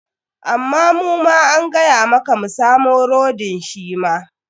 Amma muma an gaya maka mu samo rodin shi ma.